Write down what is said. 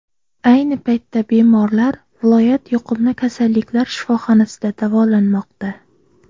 Ayni paytda bemorlar viloyat yuqumli kasalliklar shifoxonasida davolanmoqda.